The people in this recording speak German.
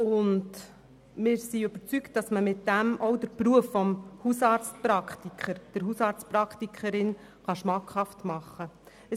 Wir sind überzeugt, dass man damit den Beruf des Hausarztpraktikers beziehungsweise der Hausarztpraktikerin schmackhaft machen kann.